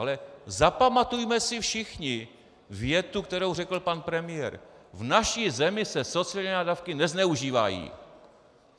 Ale zapamatujme si všichni větu, kterou řekl pan premiér: V naší zemi se sociální dávky nezneužívají.